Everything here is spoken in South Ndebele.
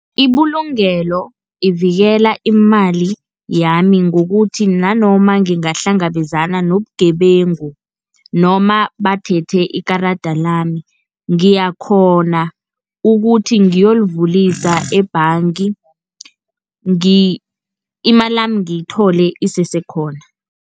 Ibulungelo ivikela imali yami ngokuthi nanoma ngingahlangabezana nobugebengu, noma bathethe ikarada lami ngiyakghona ukuthi ngiyolivulisa ebhanga imalami ngiyithole isese khona.